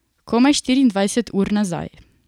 Komaj štiriindvajset ur nazaj.